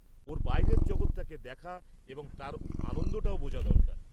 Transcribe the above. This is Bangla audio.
-ওর বাইরের জগৎটাকে দেখা এবং তার আনন্দটাও বোঝা দরকার।